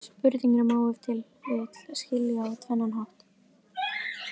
Spurninguna má ef til vill skilja á tvennan hátt.